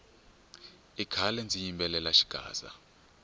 i khale ndzi yimbelela xigaza